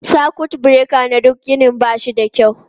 Sakut bureka na duk ginin ba shi da kyau.